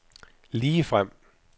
ligefrem